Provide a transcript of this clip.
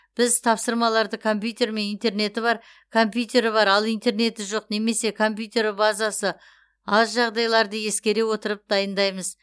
біз тапсырмаларды компьютер мен интернеті бар компьютері бар ал интернеті жоқ немесе компьютер базасы аз жағдайларды ескере отырып дайындаймыз